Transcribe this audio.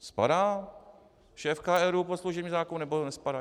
Spadá šéfka ERÚ pod služební zákon, nebo nespadá?